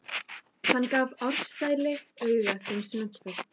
Hann gaf Ársæli auga sem snöggvast.